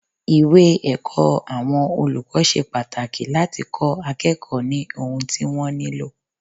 Ìwé ẹ̀kọ́ àwọn olùkọ́ ṣe pàtàkì láti kó akẹ́kọ̀ọ́ ní ohun tí wọ́n nílò.